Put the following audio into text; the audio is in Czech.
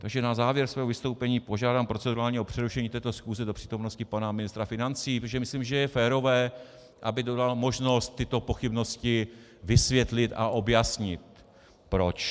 Takže na závěr svého vystoupení požádám procedurálně o přerušení této schůze do přítomnosti pana ministra financí, protože myslím, že je férové, aby dostal možnost tyto pochybnosti vysvětlit a objasnit proč.